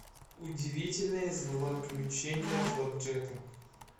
удивительные злоключения флэпджека